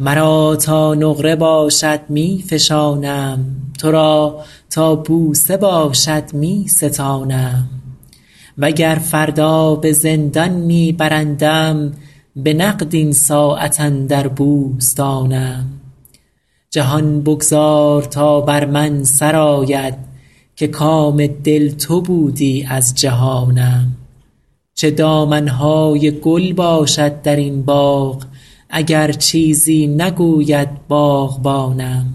مرا تا نقره باشد می فشانم تو را تا بوسه باشد می ستانم و گر فردا به زندان می برندم به نقد این ساعت اندر بوستانم جهان بگذار تا بر من سر آید که کام دل تو بودی از جهانم چه دامن های گل باشد در این باغ اگر چیزی نگوید باغبانم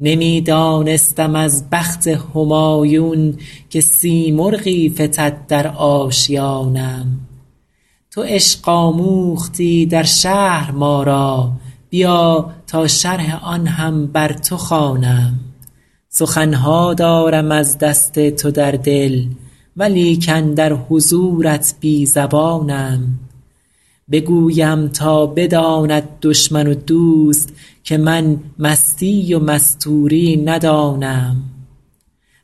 نمی دانستم از بخت همایون که سیمرغی فتد در آشیانم تو عشق آموختی در شهر ما را بیا تا شرح آن هم بر تو خوانم سخن ها دارم از دست تو در دل ولیکن در حضورت بی زبانم بگویم تا بداند دشمن و دوست که من مستی و مستوری ندانم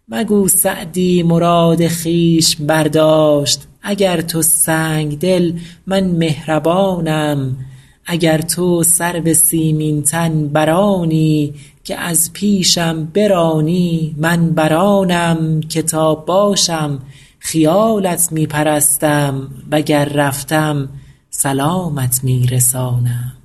مگو سعدی مراد خویش برداشت اگر تو سنگدلی من مهربانم اگر تو سرو سیمین تن بر آنی که از پیشم برانی من بر آنم که تا باشم خیالت می پرستم و گر رفتم سلامت می رسانم